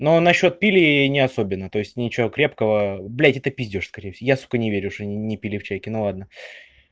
но насчёт пили и не особенно то есть ничего крепкого блять это пиздёж скорей я сука верю что они не пили в чайке ну ладно